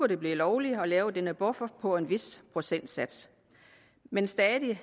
det blive lovligt at lave denne buffer på en vis procentsats men stadig